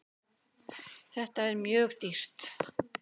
Þetta er mjög dýrt.